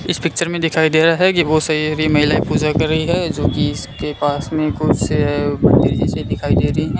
इस पिक्चर में दिखाई दे रहा है कि बहोत सारी महिलाएं पूजा कर रही है जो की इसके पास में कुछ तेजी से दिखाई दे रही हैं।